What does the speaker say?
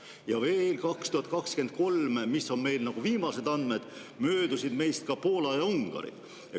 Ja veel, viimaste andmete järgi möödusid meist 2023 ka Poola ja Ungari.